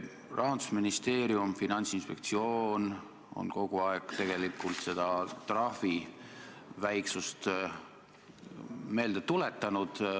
Rahandusministeerium ja Finantsinspektsioon on kogu aeg seda trahvi väiksust meelde tuletanud.